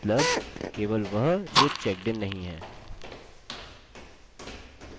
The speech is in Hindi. मतलब केवल वह जो checked नहीं हैं